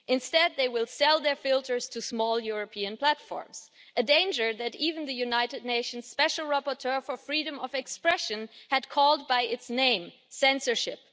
Instead, they will sell their filters to small European platforms, a danger that even the United Nations Special Rapporteur for freedom of expression had called by its name censorship.